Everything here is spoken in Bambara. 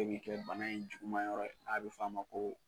bɛ kɛ bana in juguma yɔrɔ ye k'a bɛ f'a ma ko